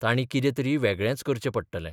तांणी कितें तरी वेगळेंच करचें पडटलें.